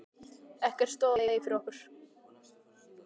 Ekkert stóð í vegi fyrir okkur.